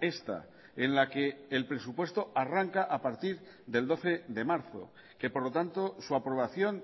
esta en la que el presupuesto arranca a partir del doce de marzo que por lo tanto su aprobación